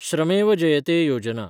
श्रमेव जयते योजना